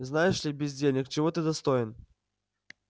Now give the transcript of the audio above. знаешь ли бездельник чего ты достоин